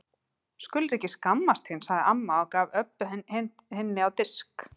Skulir ekki skammast þín, sagði amma og gaf Öbbu hinni á disk.